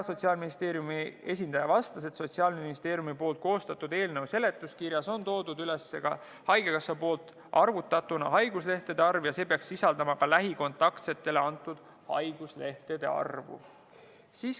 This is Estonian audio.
Sotsiaalministeeriumi esindaja vastas, et Sotsiaalministeeriumi koostatud eelnõu seletuskirjas on ära toodud ka haigekassa arvutatud haiguslehtede arv ja see peaks sisaldama ka lähikontaktsetele antud haiguslehtede arvu.